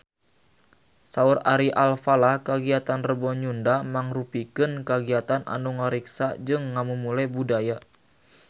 Saur Ari Alfalah kagiatan Rebo Nyunda mangrupikeun kagiatan anu ngariksa jeung ngamumule budaya Sunda